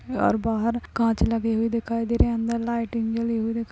और बाहर काँच लगे हुए दिखाई दे रहे है। अंदर लाइटे जली हुई दिखाई --